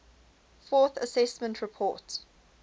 fourth assessment report